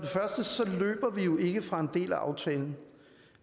venstre